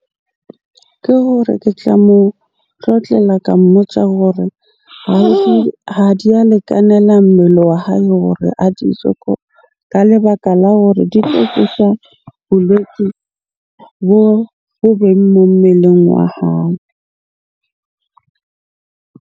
Ke hore ke tla mo tlotlela ka mmotsa hore ha di a lekanela mmele wa hae hore a di je ka lebaka la hore di tlo tlisha bolwetse bo moo mmeleng wa hae.